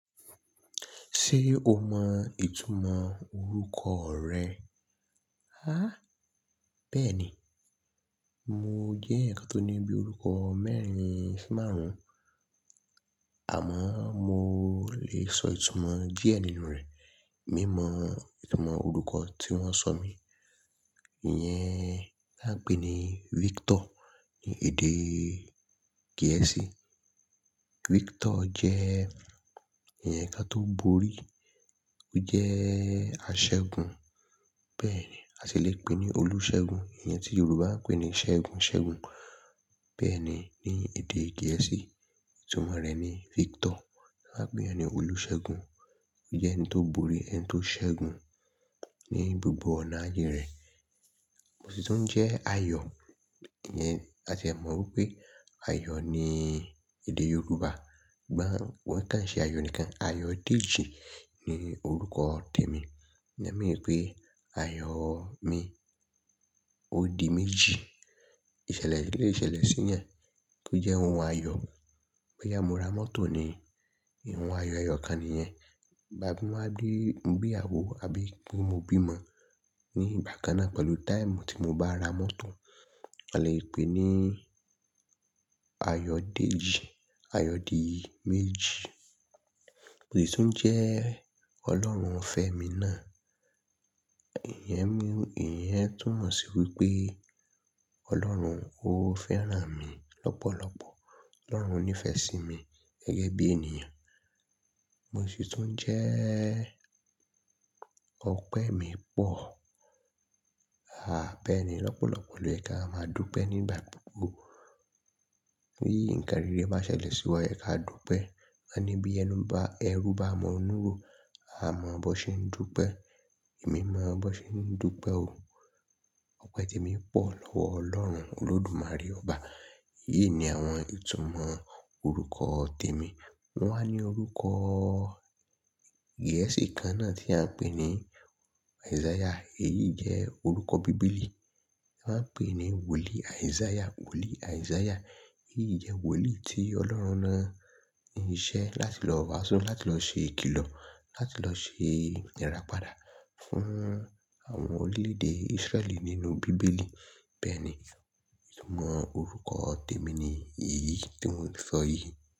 Ṣé o mọ ìtumọ̀ orúkọ rẹ? Bẹ́ẹ̀ ni. Mo jẹ́ ẹ̀yan kan tó ní bí i orúkọ mẹ́rin sí márùn-ún, àmọ́ mo lè sọ ìtumọ̀ díẹ̀ nínú rẹ̀. Mi mọ ìtumọ̀ orúkọ tí wọ́n sọ mí. Iyẹn la pè ní Victor ní èdè Gẹ̀ẹ́sì. Victor jẹ́ eyan kan tó borí, ó jẹ́ aṣẹ́gun. Bẹ́ẹ̀ ni, a sì lè pè é ní olùṣẹ́gun. Iyẹn tí Yorùbá n pè ní Ṣẹ́gun ṣẹ́gun. Bẹ́ẹ̀ ni, ní èdè Gẹ̀ẹ́sì, ìtumọ̀ rẹ̀ ni Victor. A á pè é ní olùṣẹ́gun. Ó jẹ́ ẹni tó borí, ẹni tó ṣẹ́gun ní gbogbo ọ̀nà ayé rẹ̀. Mo sì tún jẹ́ Ayo. Ìyẹn, a sì mọ̀ wípé Ayo ní èdè Yorùbá. Ṣùgbọ́n wón kì í ṣe Ayo nìkan. Ayodeji ni orúkọ tèmi. Ìná mi pé Ayo mi òdì méjì. Ìṣẹ̀lẹ̀ lè ṣẹlẹ̀ sí eyan, tó jẹ́ ohun ayọ̀. Boya mo ra mọ́tò ni, ohun ayọ̀, ayọ̀ kan nìyẹn. Tabí mo wa gbe iyawo, àbí kí mo bímo ní ìgbà kan náà pẹ̀lú táìmù tí mo bá ra mọ́tò, a lè pè é ní Ayodeji, Ayòdì méjì. Mo sì tún jẹ́ ọlọ́run fẹ́mi náà. Ìyẹn mean, ìyẹn túnmọ̀ sí wípé Ọlọ́run, ó fẹ́ràn mi lọ́pọ̀lọ́pọ̀. Ọlọ́run nífẹ̀ẹ́ sí mi gẹ́gẹ́ bí ènìyàn. Mo sì tún jẹ́ ọpẹ́ mi pọ̀. Bẹ́ẹ̀ ni. Lọ́pọ̀lọ́pọ̀ ló yẹ̀ka a máa dúpẹ́ nígbà gbogbo. Bí i ǹkan rere bá ṣẹlẹ̀ sí wa, ẹ̀ jeka dúpẹ́. A ní bí ẹnu ba, ẹrú bá mọ inúrò, a mọ bọ ṣe ń dúpẹ́. Èmi mọ bọ ṣe ń dúpẹ́ o. Ọpẹ́ tèmi pọ̀ lọ́wọ Ọlọ́run Olódùmarè ọba. Èyí ni àwọn ìtumọ̀ orúkọ tèmi. Wọ́n wá ní orúkọ Gẹ̀ẹ́sì kan náà tí a ń pè ní Isaiah. Èyí jẹ́ orúkọ bíbélì. A máa ń pè ní wòlíì Isaiah, wòlíì Isaiah. Èyí jẹ́ wòlíì tí Ọlọ́run rán iṣẹ́ láti lọ wàásù, láti lọ ṣe ìkìlọ̀, láti lọ ṣe ìrapadà fún àwọn orílẹ̀ èdè Israẹli nínú bíbélì. Bẹ́ẹ̀ ni. Ìtumọ̀ orúkọ tèmi ni èyí tí mò ń sọ yìí.